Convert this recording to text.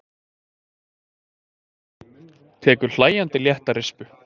Tekur hlæjandi létta rispu.